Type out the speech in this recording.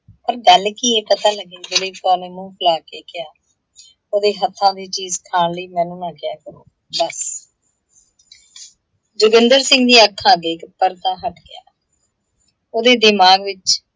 ਪਰ ਗੱਲ ਕੀ ਹੈ ਪਤਾ ਲੱਗੇ। ਦਲੀਪ ਕੌਰ ਨੇ ਮੂੰਹ ਫੁਲਾ ਕੇ ਕਿਹਾ, ਉਹਦੇ ਹੱਥਾਂ ਦੀ ਚੀਜ਼ ਖਾਣ ਲਈ ਮੈਨੂੰ ਨਾ ਕਿਹਾ ਕਰੋ। ਬਸ ਜੋਗਿੰਦਰ ਸਿੰਘ ਦੀਆਂ ਅੱਖਾਂ ਅੱਗੇ ਇੱਕ ਪੜਦਾ ਹੱਟ ਗਿਆ। ਉਹਦੇ ਦਿਮਾਗ ਵਿੱਚ